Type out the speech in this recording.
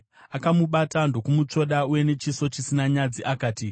Akamubata ndokumutsvoda, uye nechiso chisina nyadzi akati: